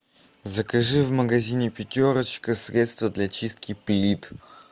закажи в магазине пятерочка средство для чистки плит